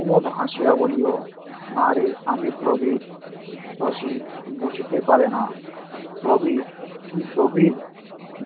উমদ হাসিয়া বলিল- না রে আমি প্রদীপ তো সে বুঝিতে পারে না প্রবির তুই প্রবির